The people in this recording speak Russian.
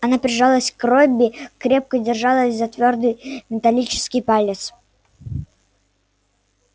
она прижалась к робби крепко держалась за твёрдый металлический палец